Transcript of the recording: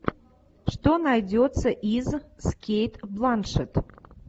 что найдется из с кейт бланшетт